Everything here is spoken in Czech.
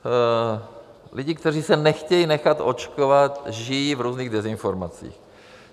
Lidi, kteří se nechtějí nechat očkovat, žijí v různých dezinformacích.